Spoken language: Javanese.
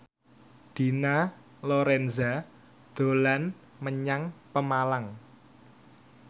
Dina Lorenza dolan menyang Pemalang